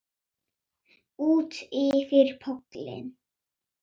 Útyfir pollinn